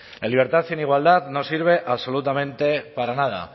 la libertad sin igualdad no sirve absolutamente para nada